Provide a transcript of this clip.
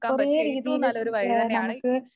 കുറെ രീതിയില് ഏഹ് നമുക്ക്